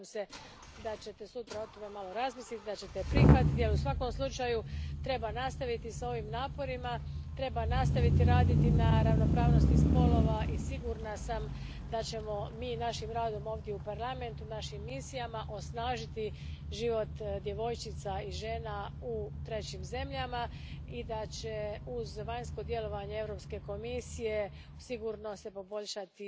Nadam se da ćete sutra o tome malo razmisliti, da ćete je prihvatiti jer u svakom slučaju treba nastaviti s ovim naporima, treba nastaviti raditi na ravnopravnosti spolova i sigurna sam da ćemo mi našim radom ovdje u Parlamentu, našim misijama osnažiti život djevojčica i žena u trećim zemljama i da će se uz vanjsko djelovanje Europske komisije sigurno poboljšati